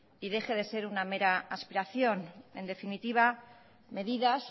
y deje de ser una mera aspiración en definitiva medidas